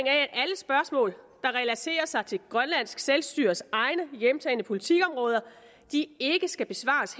spørgsmål der relaterer sig til grønlands selvstyres egne hjemtagne politikområder ikke skal besvares